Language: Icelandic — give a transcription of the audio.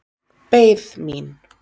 Beið mín.